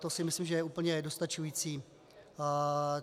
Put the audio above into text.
To si myslím, že je úplně dostačující.